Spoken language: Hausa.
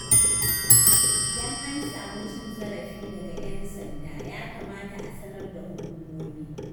Idan an samu cin zarafi daga 'yan sanda ya kamata a sanar da hukumomi.